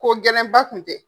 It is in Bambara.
Ko gɛlɛn ba Kun tɛ.